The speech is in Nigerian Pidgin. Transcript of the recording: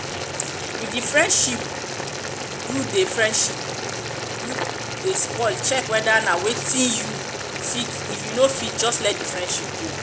if di friendship do di friendship do spoil check weda na wetin you um fit um fit if not just let di friendship go um